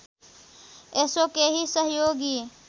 यसो केही सहयोगी